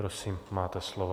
Prosím, máte slovo.